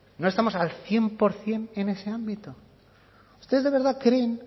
no estamos al cien por ciento en ese ámbito ustedes de verdad creen